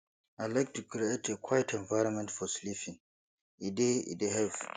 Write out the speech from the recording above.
i like to create a quiet environment for sleeping e dey e dey help